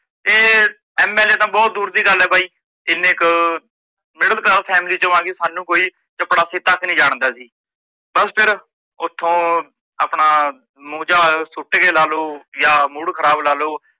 ਤੇ MLA ਤਾਂ ਬਹੁਤ ਦੂਰ ਦੀ ਗੱਲ ਏ ਬਾਈ ਜਿਨੇ ਕ middle class family ਚੋਂ ਆਕੇ ਸਾਨੂੰ ਕੋਈ ਚਪੜਾਸੀ ਤੱਕ ਨਹੀਂ ਜਾਣਦਾ ਸੀ। ਬੱਸ ਫਿਰ ਓਥੋਂ ਆਪਣਾ ਮੂੰਹ ਜਿਆ ਸੁੱਟ ਕੇ ਲਾਲੋ ਜਾ mood ਖਰਾਬ ਲਾਲੋ